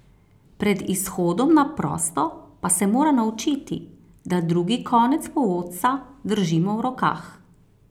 Pred izhodom na prosto pa se mora naučiti, da drugi konec povodca držimo v rokah.